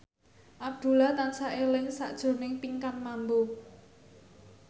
Abdullah tansah eling sakjroning Pinkan Mambo